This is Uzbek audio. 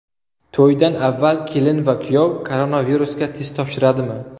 To‘ydan avval kelin va kuyov koronavirusga test topshiradimi?